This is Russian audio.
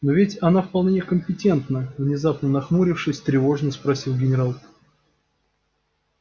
но ведь она вполне компетентна внезапно нахмурившись тревожно спросил генерал